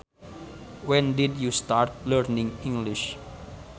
When did you start learning English